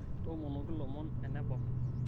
tomonoki lomon enabau